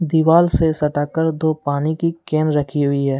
दीवाल से सटाकर दो पानी की केन रखी हुई है।